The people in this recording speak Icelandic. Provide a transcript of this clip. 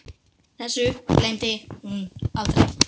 Þessu gleymdi hún aldrei.